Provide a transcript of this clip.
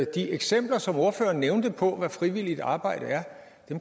de eksempler som ordføreren nævnte på hvad frivilligt arbejde er